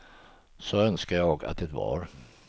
Så önskar jag att det var.